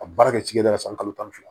A baara kɛ cikɛda la san kalo tan ni fila